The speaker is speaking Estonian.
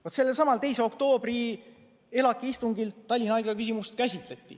Vaat sellelsamal 2. oktoobri ELAK-i istungil Tallinna Haigla küsimust käsitleti.